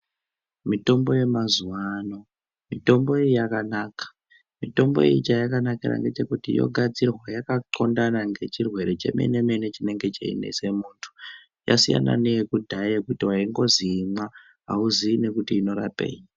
Mitombo yamazuva ano mitombo iyi yakanaka, mitombo iyi chayakanakira ngechekuti yogadzirwa yakatxondana nechirwere chemene-mene chinenge cheinese muntu. Yasiyana neyekudhaya yekuti vaingozi imwa hauziyi nekuti inorapei.